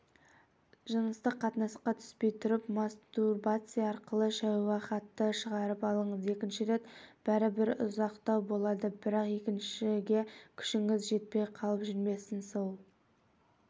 жыныстық қатынасқа түспей тұрып мастурбация арқылы шәуһатты шығарып алыңыз екінші рет бәрібір ұзақтау болады бірақ екіншіге күшіңіз жетпей қалып жүрмесін сол